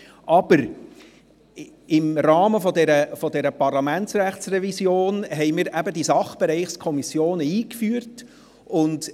Aber: Im Rahmen der Parlamentsrechtsrevision führten wir die Sachbereichskommissionen ein.